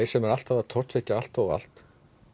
sem eru alltaf að tortryggja allt og allt